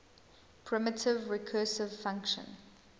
primitive recursive function